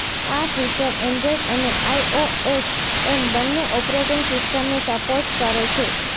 આ feature Android અને iOS એમ બંને ઓપરેટિંગ સિસ્ટમને સપોર્ટ કરે છે